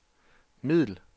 middel